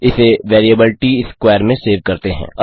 इसे variable TS square में save करते हैं